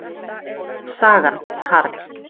Sagan, Carl.